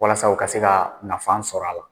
Walasa u ka se ka nafa sɔrɔ a la